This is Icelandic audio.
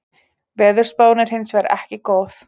Veðurspáin er hins vegar ekki góð